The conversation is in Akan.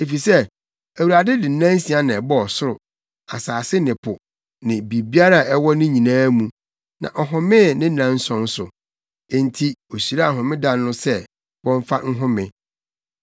Efisɛ Awurade de nnansia na ɛbɔɔ ɔsoro, asase ne po ne biribiara a ɛwɔ ne nyinaa mu, na ɔhomee ne nnanson so; enti ohyiraa homeda no so sɛ wɔmfa nhome.